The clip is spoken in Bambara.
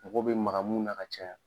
Mɔgɔ bɛ maga mun na ka caya.